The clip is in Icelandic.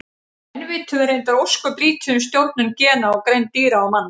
Enn vitum við reyndar ósköp lítið um stjórnun gena á greind dýra og manna.